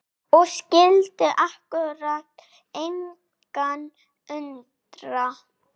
Og skyldi akkúrat engan undra!